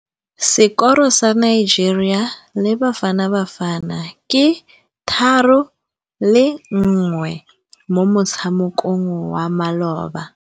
Sekôrô sa Nigeria le Bafanabafana ke 3-1 mo motshamekong wa malôba.